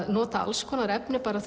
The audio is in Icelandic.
notaði alls konar efni bara